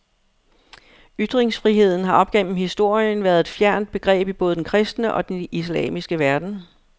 Ytringsfriheden har op gennem historien været et fjernt begreb i både den kristne og den islamiske verden.